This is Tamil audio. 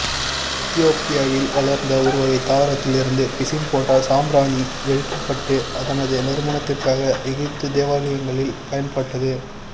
எத்தியோப்பியாவில் வளர்ந்த ஒருவகை தாவரத்தில் இருந்த பிசின் போன்ற சாம்பிராணி எரிக்கப்பட்டு அதனது நறுமணத்திற்காக எகிப்திய தேவாலயங்களில் பயன்பட்டது